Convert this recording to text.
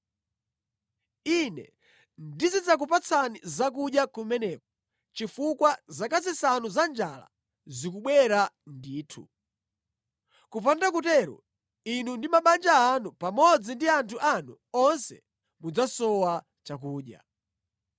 Ine ndizidzakupatsani zakudya kumeneko chifukwa zaka zisanu za njala zikubwera ndithu. Kupanda kutero, inu ndi mabanja anu pamodzi ndi anthu anu onse mudzasowa chakudya.’